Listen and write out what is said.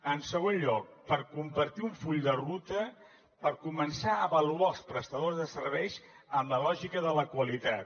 en segon lloc per compartir un full de ruta per començar a avaluar els prestadors de serveis amb la lògica de la qualitat